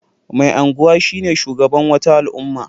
Mai anguwa shine shugaban wata al'umma.